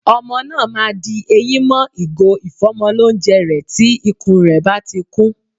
Ọmọ náà ma di eyín mọ́ ìgò ìfọ́mọlónjẹ rẹ̀ tí ikún rẹ̀ báti kún.